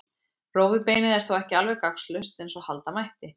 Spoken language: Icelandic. Rófubeinið er þó ekki alveg gagnslaust eins og halda mætti.